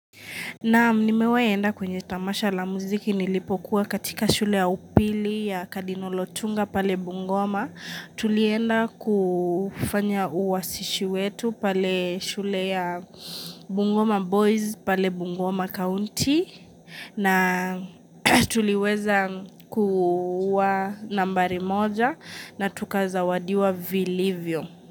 Naam nimewahi enda kwenye tamasha la muziki nilipokuwa katika shule ya upili ya Kadinolo Tunga pale Bungoma. Tulienda kufanya uwasishi wetu pale shule ya Bungoma Boys pale Bungoma County na tuliweza kuwa nambari moja na tukazawadiwa viliivyo.